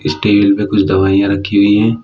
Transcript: Table पे कुछ दवाइयां रखी हुई है।